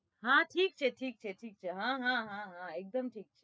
હા ઠીક છે ઠીક છે ઠીક હા હા હા એકદમ ઠીક